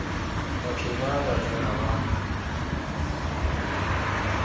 batho ba ba tsena ba